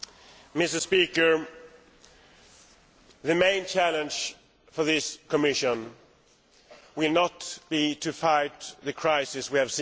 Mr President, the main challenge for this Commission will not be to fight the crisis we have seen.